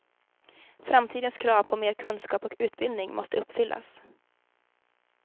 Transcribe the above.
Framtidens krav på mer kunskap och utbildning måste uppfyllas.